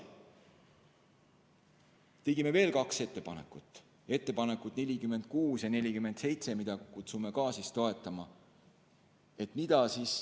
Tegime veel kaks ettepanekut, ettepanekud nr 46 ja nr 47, mida kutsume samuti teid toetama.